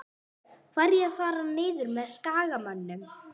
Hverjir fara niður með Skagamönnum?